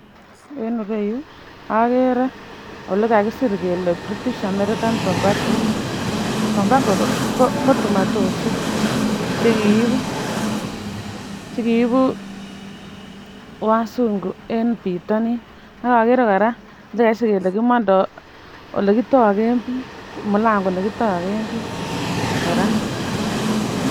En irou agere olikakisir kele [British American tobacco tobacco ko tumotoshek chekiibu , chekiibu wazungu en bitonin agakere koraa olikakisir kele kimondo ole kitogen biik mulangoit ne kitogen biik koraa.